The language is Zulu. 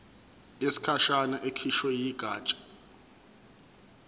yesikhashana ekhishwe yigatsha